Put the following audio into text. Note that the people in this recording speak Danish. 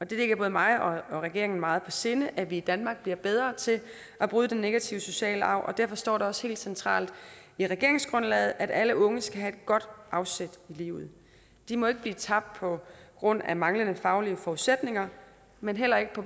det ligger både mig og regeringen meget på sinde at vi i danmark bliver bedre til at bryde den negative sociale arv og derfor står det også helt centralt i regeringsgrundlaget at alle unge skal have et godt afsæt i livet de må ikke blive tabt på grund af manglende faglige forudsætninger men heller ikke på